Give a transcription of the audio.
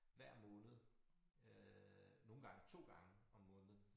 Hver måned øh nogle gange 2 gange om måneden